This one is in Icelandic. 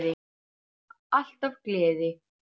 Alltaf gleði.